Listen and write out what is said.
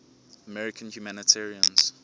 american humanitarians